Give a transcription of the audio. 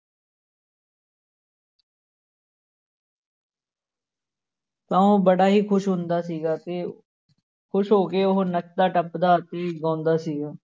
ਤਾਂ ਉਹ ਬੜਾ ਹੀ ਖ਼ੁਸ਼ ਹੁੰਦਾ ਸੀਗਾ ਤੇ ਖ਼ੁਸ਼ ਹੋ ਕੇ ਉਹ ਨੱਚਦਾ ਟੱਪਦਾ ਅਤੇ ਗਾਉਂਦਾ ਸੀਗਾ।